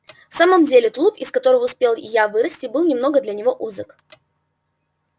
в самом деле тулуп из которого успел и я вырасти был немножко для него узок